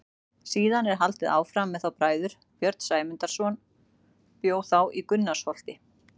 Síðan er haldið áfram með þá bræður: Björn Sæmundarson bjó þá í Gunnarsholti.